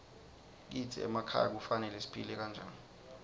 kitsi emakhaya kufanele siphile njani